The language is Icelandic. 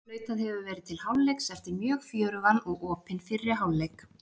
Flautað hefur verið til hálfleiks eftir mjög fjörugan og opinn fyrri hálfleik!